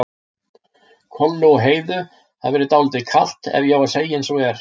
Kollu og Heiðu hafi verið dálítið kalt ef ég á að segja eins og er.